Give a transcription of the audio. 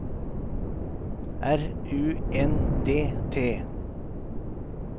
R U N D T